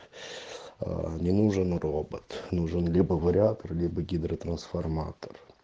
а не нужен робот нужен либо вариатр ли бы гидротрансформатор